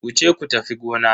Wuce ku tafi gona.